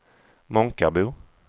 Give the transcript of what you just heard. Månkarbo